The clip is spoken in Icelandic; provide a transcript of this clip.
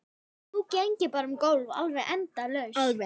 Nú geng ég bara um gólf, alveg endalaust.